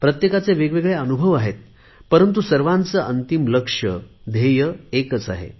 प्रत्येकाचे वेगवेगळे अनुभव आहेत परंतु सर्वांचे अंतिम लक्ष्य ध्येय एकच आहे